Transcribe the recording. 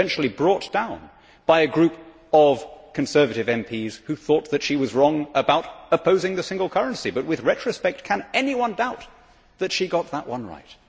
She was eventually brought down by a group of Conservative MPs who thought that she was wrong about opposing the single currency, but with retrospect, can anyone doubt that she got that one right?